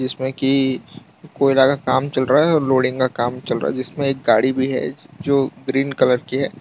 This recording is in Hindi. जिसमें की कोयला का काम चल रहा है और लोडिंग का काम चल रहा है जिसमें एक गाड़ी भी है जो ग्रीन कलर की है।